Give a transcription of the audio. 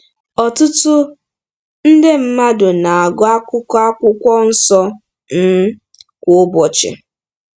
Ọtụtụ nde mmadụ na-agụ akụkụ Akwụkwọ Nsọ um kwa ụbọchị.